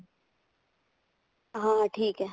ਹਾਂ ਠੀਕ ਹੈ